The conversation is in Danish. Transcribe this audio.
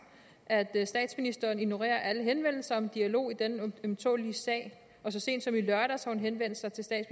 at statsministeren ignorerer alle henvendelser om dialog i denne ømtålelige sag og så sent som i lørdags har men